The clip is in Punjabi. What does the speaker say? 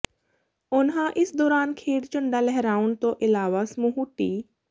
ਉਨ੍ਹਾਂ ਇਸ ਦੌਰਾਨ ਖੇਡ ਝੰਡਾ ਲਹਿਰਾਉਣ ਤੋਂ ਇਲਾਵਾ ਸਮੂਹ ਟੀ